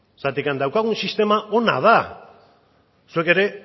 daukagun sistema ona da zuek ere